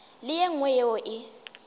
le ye nngwe yeo e